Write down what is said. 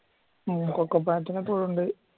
ഉം കൊക്കോ പയത്തിനൊക്കെ ഇവിടെ ഉണ്ട്